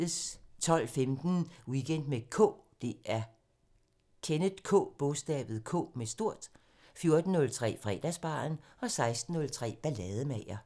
12:15: Weekend med K 14:03: Fredagsbaren 16:03: Ballademager